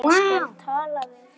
Ég skal tala við Stellu.